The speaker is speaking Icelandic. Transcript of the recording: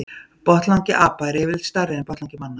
Botnlangi apa er yfirleitt stærri en botnlangi manna.